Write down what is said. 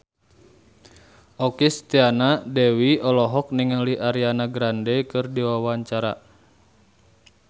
Okky Setiana Dewi olohok ningali Ariana Grande keur diwawancara